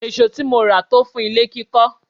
Èsó tí mo rà máa tó fún ilé kíkọ́.